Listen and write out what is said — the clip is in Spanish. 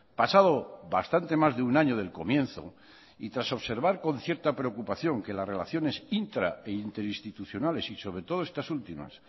pasado bastante más de un año del comienzo y tras observar con cierta preocupación que las relaciones intra e interinstitucionales y sobre todo estas últimas